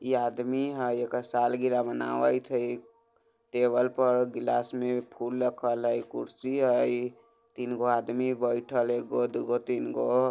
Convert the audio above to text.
इ आदमी हय एकर सालगिरह मनावइत हय टेबल पर ग्लास में फूल रखल हय कुर्सी हय तीन गो आदमी बैठल हय एगो दू गो तीन गो।